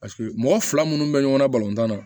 Paseke mɔgɔ fila minnu bɛ ɲɔgɔn na tan na